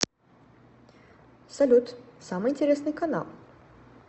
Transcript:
салют самый интересный канал